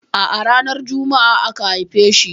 A'a ranar Juma'a aka haife shi.